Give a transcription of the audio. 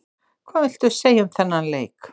Hvað viltu segja um þennan leik?